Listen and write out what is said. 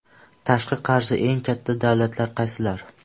Tashqi qarzi eng katta davlatlar qaysilar?